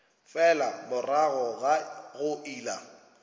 fela morago ga go ela